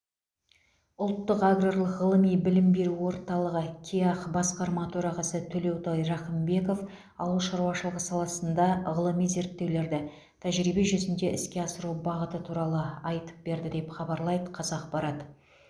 ұлттық аграрлық ғылыми білім беру орталығы кеақ басқарма төрағасы төлеутай рақымбеков ауыл шаруашылығы саласында ғылыми зерттеулерді тәжірибе жүзінде іске асыру бағыты туралы айтып берді деп хабарлайды қазақпарат